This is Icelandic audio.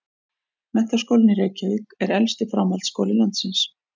Menntaskólinn í Reykjavík er elsti framhaldsskóli landsins.